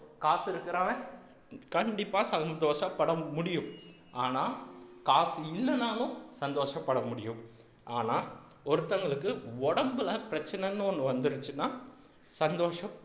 காசு இருக்கிறவன் கண்டிப்பா சந்தோஷப்பட முடியும் ஆனா காசு இல்லைனாலும் சந்தோஷப்பட முடியும் ஆனா ஒருத்தங்களுக்கு உடம்புல பிரச்சனைன்னு ஒண்ணு வந்திருச்சுன்னா சந்தோஷம்